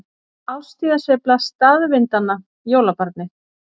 Árstíðasveifla staðvindanna- jólabarnið